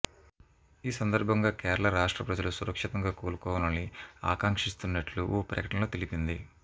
ఈ సందర్భంగా కేరళ రాష్ట్ర ప్రజలు సురక్షితంగా కొలుకోవాలని ఆకాంక్షిస్తున్నట్లు ఓ ప్రకటనలో తెలిపింది